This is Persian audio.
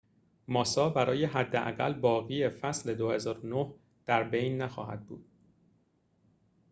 ماسا برای حداقل باقی فصل ۲۰۰۹ در بین نخواهد بود